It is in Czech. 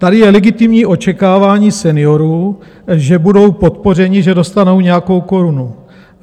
Tady je legitimní očekávání seniorů, že budou podpořeni, že dostanou nějakou korunu.